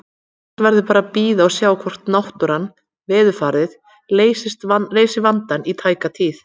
Annars verður bara að bíða og sjá hvort náttúran, veðurfarið, leysir vandann í tæka tíð.